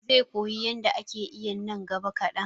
he will learn to swim in the near future